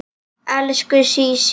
Elsku Sísí.